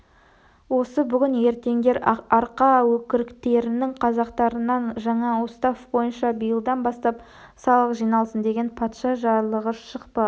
осы бүгін-ертеңдер арқа өкіріктерінің қазақтарынан жаңа устав бойынша биылдан бастап салық жиналсын деген патша жарлығы шықпақ